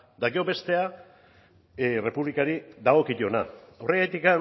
eta gero bestea errepublikari dagokiona horregatik